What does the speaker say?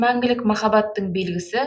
мәңгілік махаббаттың белгісі